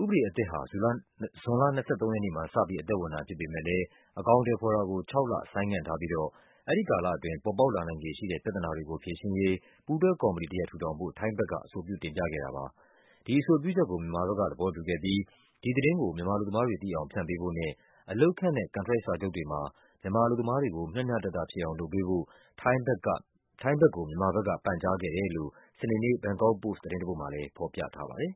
ဥပေဒအသစ်ဟာ ဇွန်လ ၂၃ ရက်နေ့မှာ စပြီး အသက်ဝင်တာဖြစ်ပေမဲ့လဲ အကောင် အထည်ဖော်တာကို ခြောက်လ ဆိုင်းငံ့ထား ပြီးတော့ အဲဒီကာလအတွင်း ပေါ်ပေါက် လာနိုင်ခြေရှိတဲ့ ပြဿနာတွေကိုဖြေရှင်းရေး ပူးတွဲကော်မတီတရပ် ထူထောင်ဖို့ ထိုင်းဘက်က အဆိုပြုတင်ပြခဲ့တာပါ။ ဒီအဆိုပြုချက်ကို မြန်မာဘက်ကသဘောတူခဲ့ပြီး ဒီသတင်းကို မြန်မာ အလုပ်သမားတွေ သိအောင် ဖြန့်ပေးဖို့နဲ့ အလုပ်ခန့်ထားတဲ့ ကန်ထရိုက်စာချုပ်တွေမှာ မြန်မာအလုပ်သမား တွေကို မျှမျှတတဖြစ်အောင် လုပ်ပေးဖို့ ထိုင်းဘက်ကို မြန်မာဘက်က ပန်ကြားခဲ့ တယ်လို့ စနေနေ့ ဘန်ကောက်ပို့စ် သတင်းတပုဒ်မှာလဲ ဖော်ပြထားပါတယ်